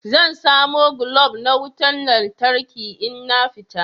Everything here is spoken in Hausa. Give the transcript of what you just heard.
Zan samo glob na wutan lantarki in na fita.